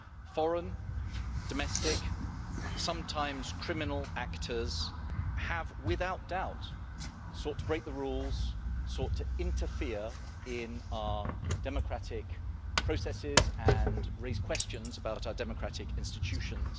Foreign, domestic, sometimes criminal, actors have, without doubt, sought to break the rules, sought to interfere in our democratic processes and raised questions about our democratic institutions.